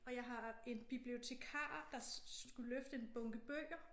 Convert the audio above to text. Og jeg har en bibliotekar der skulle løfte en bunke bøger